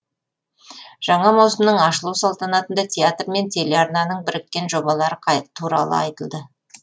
жаңа маусымның ашылу салтанатында театр мен телеарнаның біріккен жобалары туралы айтылды